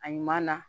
A ɲuman na